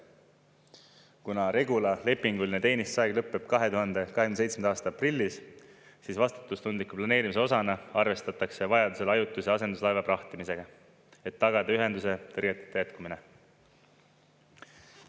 Kuna Regula lepinguline teenistusaeg lõppeb 2027. aasta aprillis, siis vastutustundliku planeerimise osana arvestatakse vajadusel ajutise asenduslaeva prahtimisega, et tagada ühenduse tõrgeteta jätkumine.